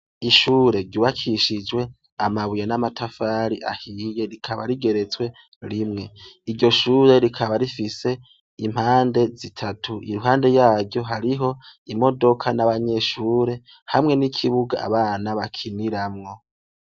Ishure ryubakishijwe amabuye n'amatafari ahiye rikaba rigeretswe rimwe. Iryo shure rikaba rifise impande zitatu, iruhande yaryo hariho imodoka n'abanyeshure hamwe n'ikibuga abana bakiniramwo.